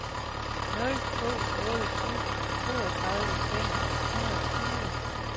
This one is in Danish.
nul to otte syv toogtredive fem hundrede og tyve